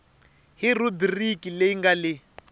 hi rhubiriki leyi nga le